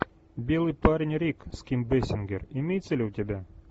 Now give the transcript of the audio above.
белый парень рик с ким бейсингер имеется ли у тебя